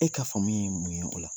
E ka faamu ye mun ye o la.